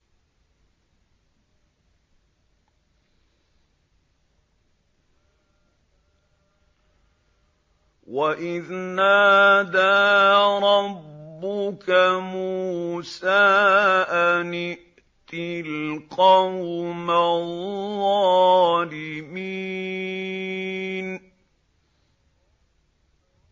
وَإِذْ نَادَىٰ رَبُّكَ مُوسَىٰ أَنِ ائْتِ الْقَوْمَ الظَّالِمِينَ